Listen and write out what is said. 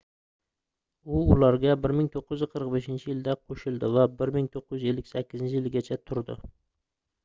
u ularga 1945-yilda qoʻshildi va 1958-yilgacha turdi